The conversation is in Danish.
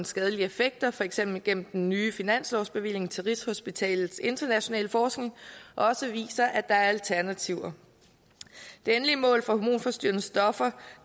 skadelige effekter for eksempel igennem den nye finanslovsbevilling til rigshospitalets internationale forskning også viser at der er alternativer det endelige mål for hormonforstyrrende stoffer